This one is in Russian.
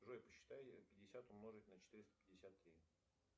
джой посчитай пятьдесят умножить на четыреста пятьдесят три